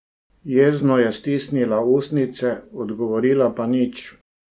Jezno je stisnila ustnice, odgovorila pa nič.